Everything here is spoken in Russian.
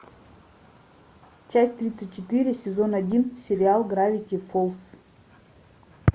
часть тридцать четыре сезон один сериал гравити фолз